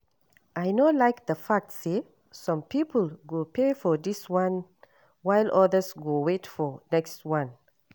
I no like the fact say some people go pay for dis one while others go wait for next wan